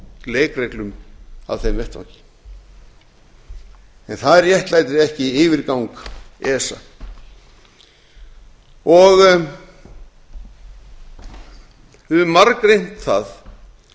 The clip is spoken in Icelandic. leikreglum af þeim vettvangi en það réttlætir ekki yfirgang esa við höfum margreynt það